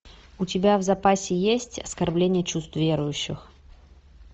у тебя в запасе есть оскорбление чувств верующих